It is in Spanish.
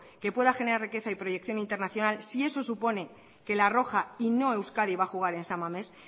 que pueda generar riqueza y proyección internacional si eso supone que la roja y no euskadi va a jugar en san mames